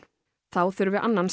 þá þurfi annan